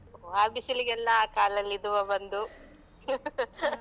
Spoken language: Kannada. ಆ ಬಿಸಿಲಿಗೆಲ್ಲ ಕಾಲಲ್ಲಿ ದುವಾ ಬಂದು.